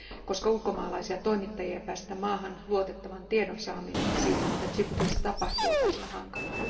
Koska ulkomaalaisia toimittajia ei päästetä maahan, luotettavan tiedon saaminen siitä, mitä Djiboutissa tapahtuu, on välillä hankalaa.